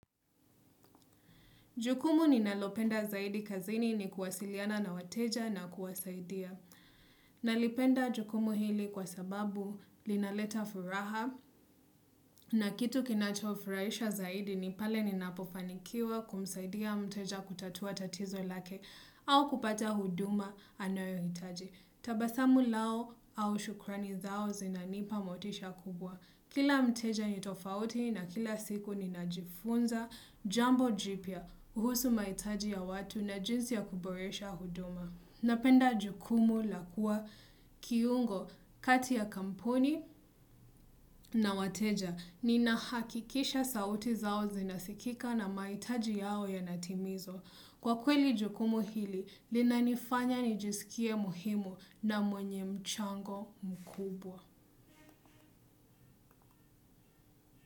Jukumu ninalopenda zaidi kazini ni kuwasiliana na wateja na kuwasaidia. Nalipenda jukumu hili kwa sababu linaleta furaha na kitu kinachofurahisha zaidi ni pale ninapofanikiwa kumsaidia mteja kutatua tatizo lake au kupata huduma anayohitaji. Tabasamu lao au shukrani zao zinanipa motisha kubwa. Kila mteja ni tofauti na kila siku ninajifunza jambo jipia kuhusu mahitaji ya watu na jinsi ya kuboresha huduma. Napenda jukumu la kuwa kiungo kati ya kampuni na wateja ninahakikisha sauti zao zinasikika na mahitaji yao yanatimizwa. Kwa kweli jukumu hili, linanifanya nijisikie muhimu na mwenye mchango mkubwa.